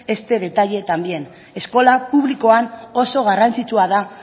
este detalle también eskola publikoan oso garrantzitsua da